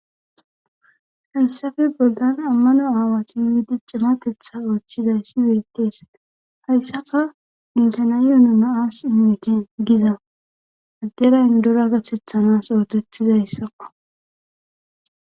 Hansafe bolgan ammano aawati yuwudi cimatetha oochizayssi weettees hayssafa mintanayonu na as immite giza addera indora gatethanas ootetizayssaqo